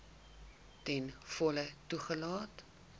ten volle toegelaat